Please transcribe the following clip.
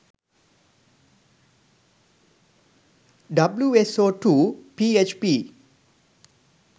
wso2 php